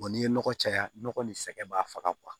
n'i ye nɔgɔ caya nɔgɔ ni sɛgɛn b'a faga